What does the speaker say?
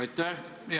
Aitäh!